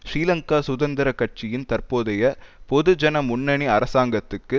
ஸ்ரீலங்கா சுதந்திர கட்சியின் தற்போதைய பொது ஜன முன்னணி அரசாங்கத்துக்கு